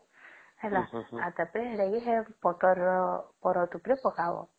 ହେଲା ଆଉ ସେଟା କି ସେ ପତର କେ ପାରଦ ଉପରେ ପକାଵା